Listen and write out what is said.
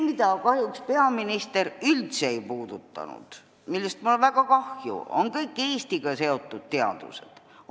Kahjuks peaminister üldse ei puudutanud – sellest on mul väga kahju – Eestiga seotud teadusi.